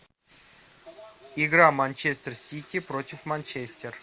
игра манчестер сити против манчестер